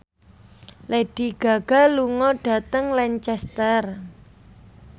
Lady Gaga lunga dhateng Lancaster